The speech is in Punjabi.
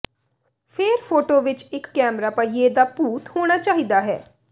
ਫੇਰ ਫੋਟੋ ਵਿਚ ਇਕ ਕੈਮਰਾ ਪਹੀਏ ਦਾ ਭੂਤ ਹੋਣਾ ਚਾਹੀਦਾ ਹੈ